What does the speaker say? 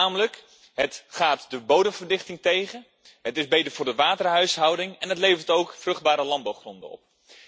Het gaat namelijk de bodemverdichting tegen, het is beter voor de waterhuishouding en het levert ook vruchtbare landbouwgronden op.